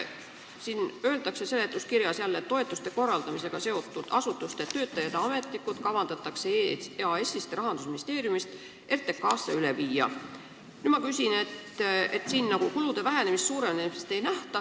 Siin seletuskirjas öeldakse, et toetuste korraldamisega seotud asutuste töötajad ja ametnikud kavandatakse EAS-ist ja Rahandusministeeriumist RTK-sse üle viia, aga kulude vähenemist ega suurenemist ette ei nähta.